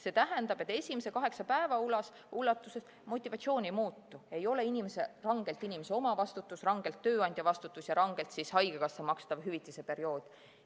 See tähendab, et esimese kaheksa päeva ulatuses motivatsioon ei muutu, ei ole rangelt inimese omavastutus, rangelt tööandja vastutus ja rangelt haigekassa makstav hüvitise periood.